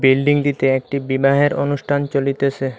বিল্ডিংটিতে একটি বিবাহের অনুষ্ঠান চলিতেসে।